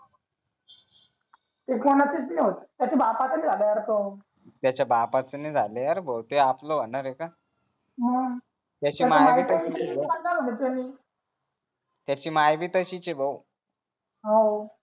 ते कोणाचच नाही होत त्याच्या बापाचं नाही झालं यार तो त्याच्या बापाचं नाही झालं यार बहूते आपल होणार आहे का मग त्याची माय भी तशीच आहे भाऊ हौ